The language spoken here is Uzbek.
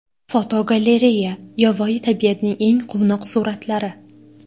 Fotogalereya: Yovvoyi tabiatning eng quvnoq suratlari.